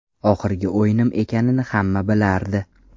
Oxirgi o‘yinim ekanini hamma bilardi.